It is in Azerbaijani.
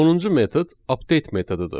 Sonuncu metod update metodudur.